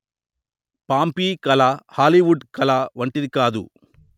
Pompeii కళ Hollywood కళ వంటిది కాదు